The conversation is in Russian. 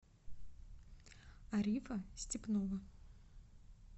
арифа степнова